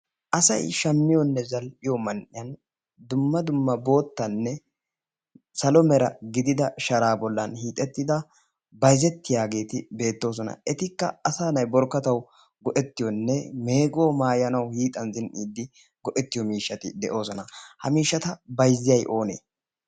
asai shammiyoonne zall'iyo man"iyan dumma dumma boottanne salo mera gidida shaaraa bollan hiixettida bayzettiyaageeti beettoosona etikka asa nay borkkatau go'ettiyoonne meeguwa maayanaw hiixan zin"iiddi go"ettiyo miishshati de'oosona ha miishata bayzziyay oonee